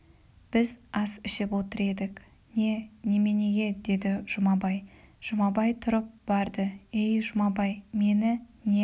біз ас ішіп отыр едік не немене деді жұмабай жұмабай тұрып барды ей жұмабай мені не